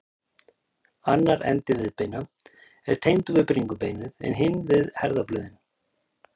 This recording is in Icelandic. Annar endi viðbeina er tengdur við bringubeinið en hinn við herðablöðin.